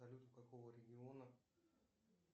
салют у какого региона